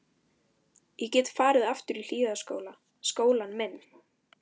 Ég gat farið aftur í Hlíðaskóla, skólann minn.